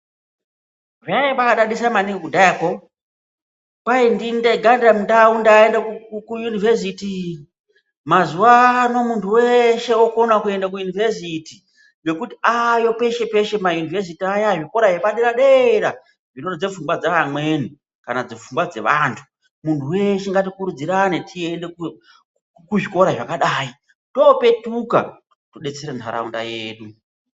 Zvaidadisa maningi kudhara, kwaanzi ndini ndega ndaenda kuyunivhesiti. Mazuvano muntu wese wavakukona kuenda kuyunivhesiti nekuti avayo kwese kwese, zvikoro zvepa dera dera zvinorodza pfungwa dzavamweni kana kuti pfungwa dzevantu. Munhu wese ngati kurudzirane tiende kuzvikora zvaka dai, kuitira kuti topetuka todetsera nharaunda yedu.